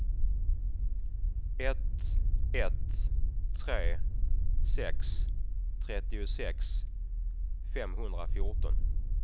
ett ett tre sex trettiosex femhundrafjorton